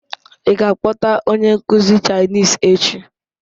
Ị ga-akpọta onye nkuzi Chinese echi?